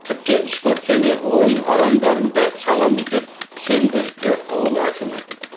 тіпті спорт және ойын алаңдарын да саламыз деп сендірді ауыл әкімі